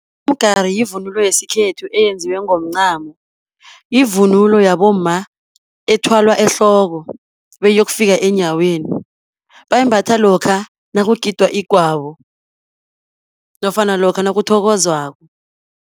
Umgari yivunulo yesikhethu eyenziwe ngomncamo. Yivunulo yabomma ethwalwa ehloko, beyiyokufika eenyaweni. Bayimbatha lokha nakugidwa igwabo, nofana lokha nakuthokozwako.